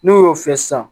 N'o y'o fiyɛ sisan